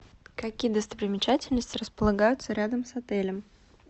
какие достопримечательности располагаются рядом с отелем